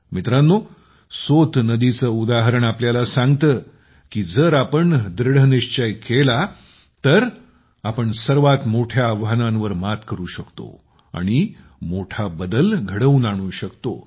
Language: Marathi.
मित्रांनो सोत नदीचे उदाहरण आपल्याला सांगते की जर आपण दृढनिश्चय केला तर आपण सर्वात मोठ्या आव्हानांवर मात करू शकतो आणि मोठा बदल घडवून आणू शकतो